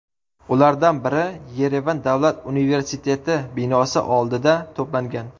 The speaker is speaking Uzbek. Ulardan biri Yerevan davlat universtiteti binosi oldida to‘plangan.